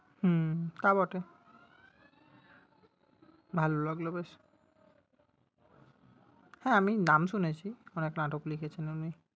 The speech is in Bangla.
হুম তা বটে। ভালো লাগলো বেশ। হ্যাঁ আমি নাম শুনেছি, অনেক নাটক লিখেছেন উনি।